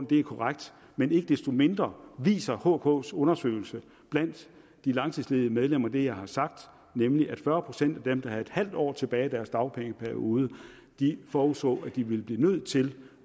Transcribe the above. det er korrekt men ikke desto mindre viser hks undersøgelse blandt de langtidsledige medlemmer det jeg har sagt nemlig at fyrre procent af dem der havde halv år tilbage af deres dagpengeperiode forudså at de ville blive nødt til